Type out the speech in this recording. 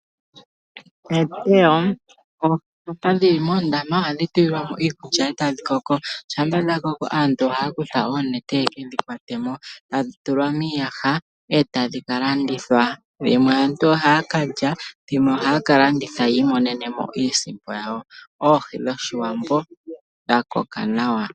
Oohi ndhoka dhi li moondama ohadhi tulilwa mo iikulya e tadhi koko. Shampa dha koko aantu ohaya kutha oonete ye ke dhi kwate mo tadhi tulwa miiyaha e tadhi ka landithwa. Dhimwe aantu ohaya ka lya dhimwe ohaya ka landitha yi imonene mo iisimpo yawo. Oohi dhOshiwambo dha koka nawa.